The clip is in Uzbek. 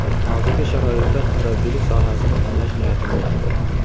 Hozirgi sharoitda murabbiylik sohasini tanlash niyatim yo‘q.